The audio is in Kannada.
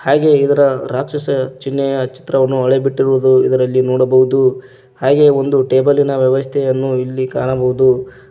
ಹಾಗೆ ಇದರ ರಾಕ್ಷಸ ಚಿಹ್ನೆಯ ಚಿತ್ರವನ್ನು ಅಳೆ ಬಿಟ್ಟಿರುವುದು ಇದರಲ್ಲಿ ನೋಡಬಹುದು ಹಾಗೆ ಒಂದು ಟೇಬಲ್ಲಿ ನ ವ್ಯವಸ್ಥೆಯನ್ನು ಇಲ್ಲಿ ಕಾಣಬಹುದು.